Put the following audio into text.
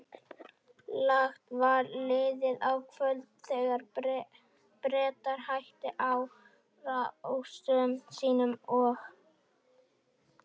Langt var liðið á kvöld, þegar Bretar hættu árásum sínum og